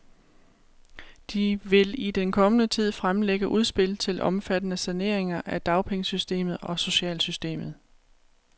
De vil i den kommende tid fremlægge udspil til omfattende saneringer af dagpengesystemet og socialsystemet.